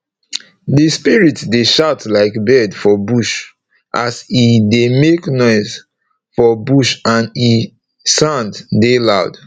the spirit dey shout like bird for bush as e dey make noise for bush and e sound dey loud